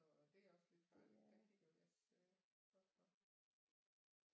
Så det er også lidt farligt der kigger vi os godt for